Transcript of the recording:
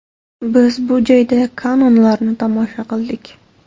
Biz bu joyda kanonlarni tomosha qildik.